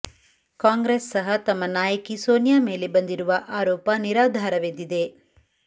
ಕಾಂಗ್ರೆಸ್ ಸಹ ತಮ್ಮ ನಾಯಕಿ ಸೋನಿಯಾ ಮೇಲೆ ಬಂದಿರುವ ಆರೋಪ ನಿರಾಧಾರವೆಂದಿದೆ